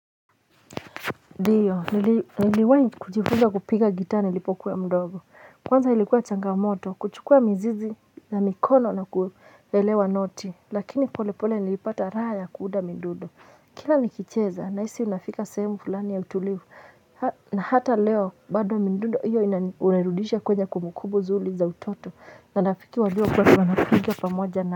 Ndiyo niliwani kujifuza kupiga gitaa nilipokuwa mdogo kwanza ilikuwa changamoto kuchukua mzizi na mikono na kuwelewa noti lakini pole pole nilipata raha ya kuuda mdudo kila nikicheza nahisi unafika semu fulani ya utulivu na hata leo bado mdudo hiyo unerudisha kwenye kumbukumbu zuli za utoto na nafiki wajua kuwa kwa nafikiwa pamoja na.